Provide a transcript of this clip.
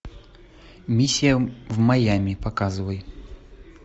миссия в майами показывай